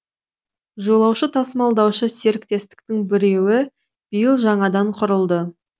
жолаушы тасымалдаушы серіктестіктің біреуі биыл жаңадан құрылды